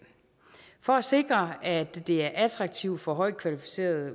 for at sikre at det er attraktivt for højt kvalificerede